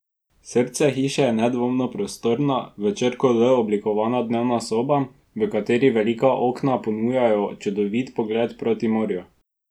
Srce hiše je nedvomno prostorna, v črko L oblikovana dneva soba, v kateri velika okna ponujajo čudovit pogled proti morju.